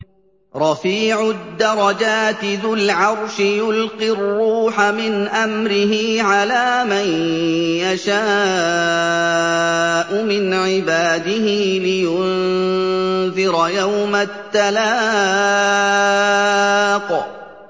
رَفِيعُ الدَّرَجَاتِ ذُو الْعَرْشِ يُلْقِي الرُّوحَ مِنْ أَمْرِهِ عَلَىٰ مَن يَشَاءُ مِنْ عِبَادِهِ لِيُنذِرَ يَوْمَ التَّلَاقِ